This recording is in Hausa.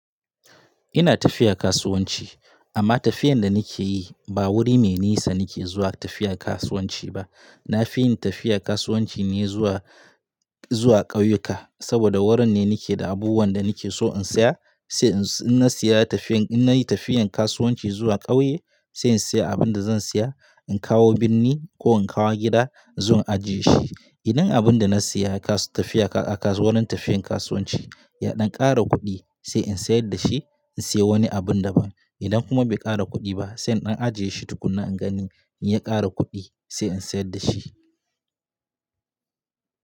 Ina tafiya kasuwanci amma tafiyan da nike yi ba wuri mai nisa nike zuwa tafiya kasuwanci ba. Na fi yin tafiya kasuwanci ne zuwa, zuwa ƙauyuka saboda wurin ne nike da abubuwan da nike so in saya sai in na saya tafiyan, in nayi tafiyan kasuwanci zuwa ƙauye sai in saya abin da zan saya, in kawo birni ko in kawo gida in zo in ajiye shi. Idan abin da na saya kasu tafiya a kasuwarin tafiyan kasuwanci ya ɗan ƙara kuɗi sai in sayar da shi in sayi wani abun daban. Idan kuma bai ƙara kuɗi ba sai in ɗan ajiye shi tukunna in gani in ya ƙara kuɗi sai in sayar da shi.